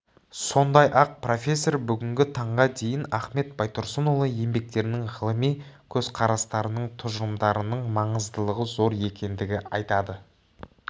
сондай-ақ профессор бүгінгі таңға дейін ахмет байтұрсынұлы еңбектерінің ғылыми көзқарастарының тұжырымдарының маңыздылығы зор екендігін айтады